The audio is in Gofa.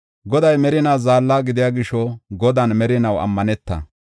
Goday merinaa zaalla gidiya gisho, Godan merinaw ammaneta.